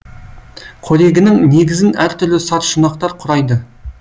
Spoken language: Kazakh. қорегінің негізін әртүрлі саршұнақтар құрайды